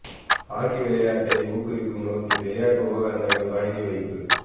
hockey விளையாட்டை ஊக்குவிக்கும் நோக்கில் விளையாட்டு உபகரணங்கள் வழங்கி வைப்பு